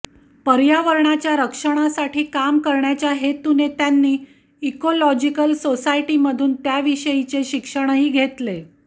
पर्यावरणाच्या रक्षणासाठी काम करण्याच्या हेतुने त्यांनी इकोलॉजिकल सोसायटीमधून त्याविषयीचे शिक्षणही घेतले